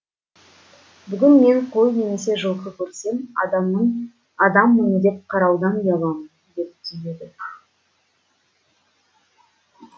бүгін мен қой немесе жылқы көрсем адамның адаммын деп қараудан ұяламын деп түйеді